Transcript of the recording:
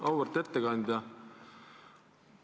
Auväärt ettekandja!